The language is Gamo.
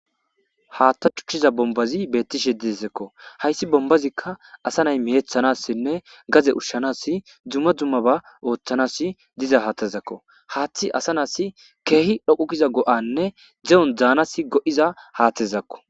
Hatha tikiza bonibazi betishe deisiko ayis bonibazika asa na'i gade ushanas ubabas duma duma othanas madiza hathazako hathi asa na'is kehipe go'a mizayisane de'on danawu goiza hathazako